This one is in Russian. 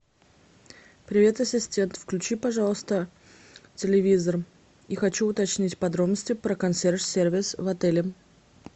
привет ассистент включи пожалуйста телевизор и хочу уточнить подробности про консьерж сервис в отеле